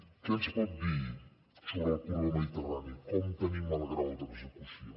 què ens pot dir sobre el corredor mediterrani com tenim el grau d’execució